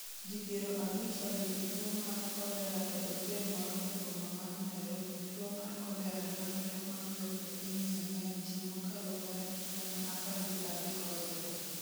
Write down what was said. Ji 50 oyudo tuo mar kolera e otel moro e boma mar Nairobi Tuwo mar kolera landore mapiyo e piny Yemen Ji mokalo gana gi gana 13 osetho.